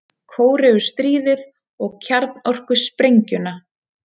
Kóreustríðið og kjarnorkusprengjuna.